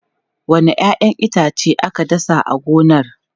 Wanne 'ya'yan itace aka dasa a gonar?